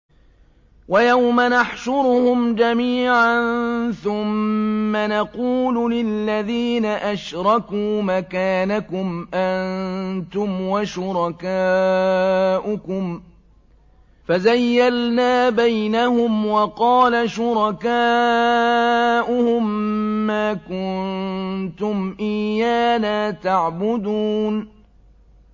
وَيَوْمَ نَحْشُرُهُمْ جَمِيعًا ثُمَّ نَقُولُ لِلَّذِينَ أَشْرَكُوا مَكَانَكُمْ أَنتُمْ وَشُرَكَاؤُكُمْ ۚ فَزَيَّلْنَا بَيْنَهُمْ ۖ وَقَالَ شُرَكَاؤُهُم مَّا كُنتُمْ إِيَّانَا تَعْبُدُونَ